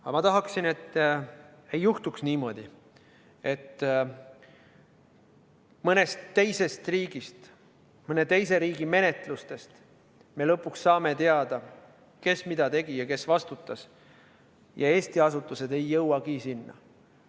Aga ma tahaksin, et ei juhtuks niimoodi, et me mõnest teisest riigist, mõne teise riigi menetlusest saame lõpuks teada, kes mida tegi ja kes vastutas, ja Eesti asutused ei jõuagi selleni.